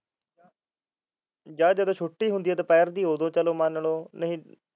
ਜਾ ਜਦੋਂ ਛੁੱਟੀ ਹੁੰਦੀ ਐ ਦੁਪਹਿਰ ਦੀ ਉਦੋ ਚਾਹੇ ਮੰਨ ਲਓ